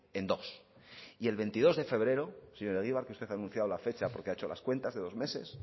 en dos y el veintidós de febrero señor egibar que usted ha anunciado la fecha porque ha hecho las cuentas de dos meses